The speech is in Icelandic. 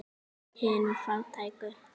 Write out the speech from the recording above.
Hinum fátæku.